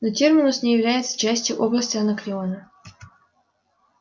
но терминус не является частью области анакреона